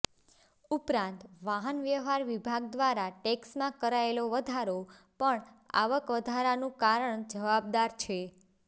ઉપરાંત વાહન વ્યવહાર વિભાગ દ્વારા ટેક્ષમાં કરાયેલો વધારો પણ આવક વધારાનું કારણ જવાબદાર છે